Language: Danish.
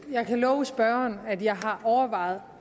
jeg kan love spørgeren at jeg har overvejet